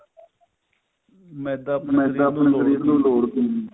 ਮੈਦਾ ਆਪਣੇ ਸ਼ਰੀਰ ਨੂੰ ਲੋੜ ਨੀ ਹੁੰਦੀ